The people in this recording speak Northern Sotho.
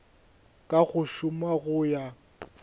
ka go šoma go ya